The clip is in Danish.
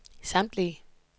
samtlige